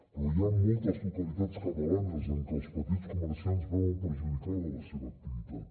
però hi ha moltes localitats catalanes en què els petits comerciants veuen perjudicada la seva activitat